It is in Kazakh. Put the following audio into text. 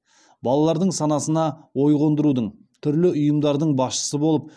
балалардың санасына ой қондырудың түрлі ұйымдардың басшысы болып